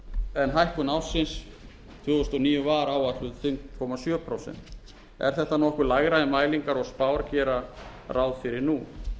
en hækkun ársins tvö þúsund og níu var áætluð fimm komma sjö prósent er þetta nokkuð lægra en mælingar og spár gera ráð fyrir nú